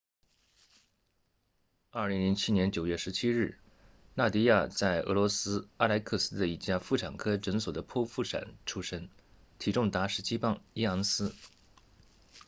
2007年9月17日纳迪亚在俄罗斯阿莱克斯的一家妇产科诊所的剖腹产出生体重达17磅1盎司